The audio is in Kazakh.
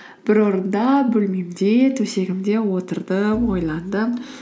бір орында бөлмемде төсегімде отырдым ойландым